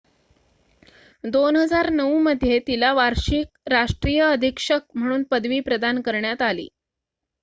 2009 मध्ये तिला वार्षिक राष्ट्रीय अधीक्षक म्हणून पदवी प्रदान करण्यात आले